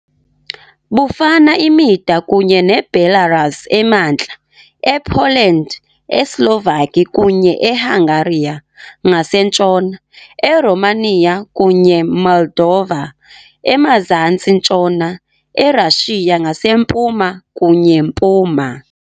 Bufana imida kunye Belarus emantla, ePoland, eSlovaki kunye eHungariya - ngasentshona, eRomaniya kunye Moldova - emazantsi-ntshona, eRashiya ngasempuma kunye mpuma.